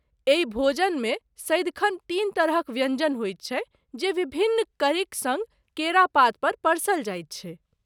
एहि भोजनमे सदिखन तीन तरहक व्यञ्जन होइत छै जे विभिन्न करीक सङ्ग केरा पात पर परसल जाइत छै।